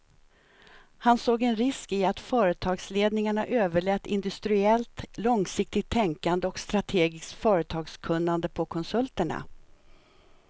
Han såg en risk i att företagsledningarna överlät industriellt långsiktigt tänkande och strategiskt företagskunnande på konsulterna.